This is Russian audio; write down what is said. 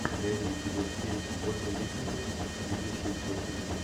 найди эпизод семь вольфа мессинга видевший сквозь время